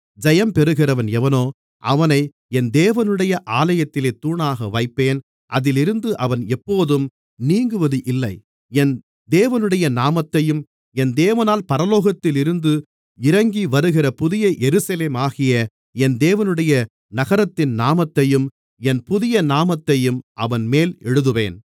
ஜெயம் பெறுகிறவன் எவனோ அவனை என் தேவனுடைய ஆலயத்திலே தூணாக வைப்பேன் அதில் இருந்து அவன் எப்போதும் நீங்குவது இல்லை என் தேவனுடைய நாமத்தையும் என் தேவனால் பரலோகத்தில் இருந்து இறங்கிவருகிற புதிய எருசலேமாகிய என் தேவனுடைய நகரத்தின் நாமத்தையும் என் புதிய நாமத்தையும் அவன்மேல் எழுதுவேன்